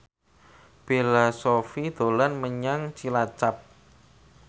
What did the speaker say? Bella Shofie dolan menyang Cilacap